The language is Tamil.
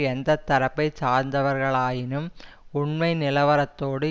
எந்த தரப்பை சார்ந்தவர்களாயினும் உண்மை நிலவரத்தோடு